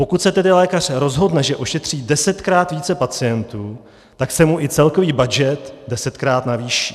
Pokud se tedy lékař rozhodne, že ošetří desetkrát více pacientů, tak se mu i celkový budget desetkrát navýší.